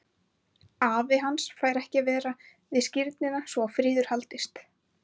Afi hans fær ekki að vera við skírnina svo að friður haldist.